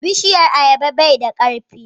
bishiyan ayaba bai da karfi